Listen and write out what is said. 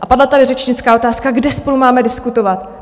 A padla tady řečnická otázka - kde spolu máme diskutovat?